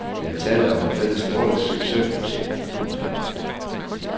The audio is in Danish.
Der er tale om et fælles nordisk succesprojekt. punktum